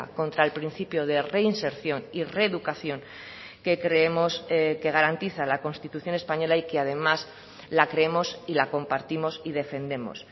contra el principio de reinserción y reeducación que creemos que garantiza la constitución española y que además la creemos y la compartimos y defendemos